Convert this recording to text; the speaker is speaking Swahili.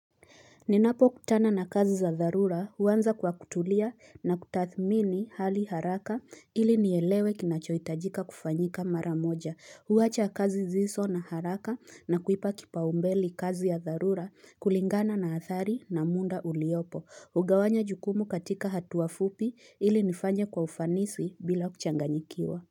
Ninapokutana na kazi za dharura huanza kwa kutulia na kutathmini hali haraka ili nielewe kinachohitajika kufanyika mara moja huacha kazi ziso na haraka na kuipa kipaumbele kazi ya tharura kulingana na athari na munda uliopo ugawanya jukumu katika hatua fupi ili nifanye kwa ufanisi bila kuchanganyikiwa.